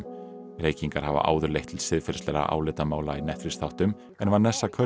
reykingar hafa áður leitt til siðferðislegra álitamála í Netflix þáttum en Vanessa